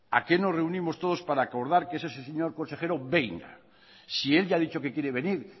a qué nos reunimos todos para acordar que ese señor consejero venga si él ya ha dicho que quiere venir